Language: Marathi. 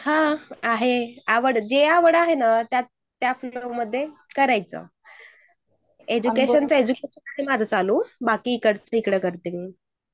हान जे आवड आहे ना त्या फिल्ड मध्ये करायचं. एज्युकेशन तर आहे माझं बाकी मग इकडचं तिकडं करते मी.